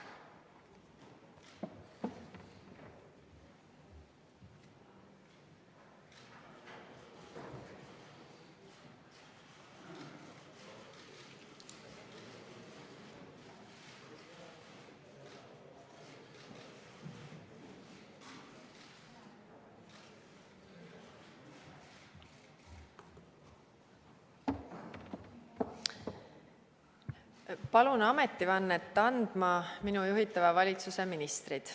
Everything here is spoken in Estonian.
Palun ametivannet andma minu juhitava valitsuse ministrid.